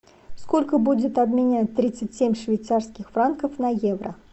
сколько будет обменять тридцать семь швейцарских франков на евро